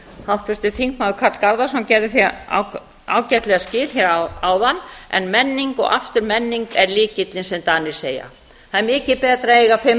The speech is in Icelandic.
háttvirtur þingmaður karl garðarsson gerði því ágætlega skil hér áðan en menning og aftur menning er lykillinn sem danir segja það er mikið betra að eiga